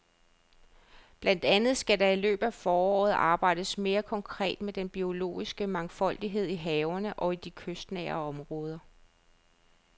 Blandt andet skal der i løbet af foråret arbejdes mere konkret med den biologiske mangfoldighed i havene og i de kystnære områder.